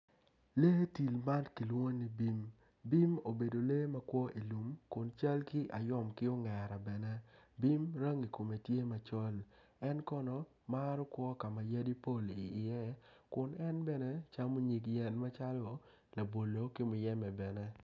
Lee tim man kilwongo ni bim piny kun puc man kala kome tye macol nicuc kun opero ite tye ka winyo jami. Puc man bene kun camo nyig yen calo labolo ki muyembe.